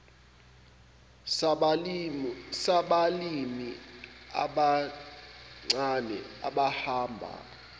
sabalimi abancane ababamba